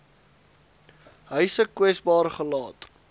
huise kwesbaar gelaat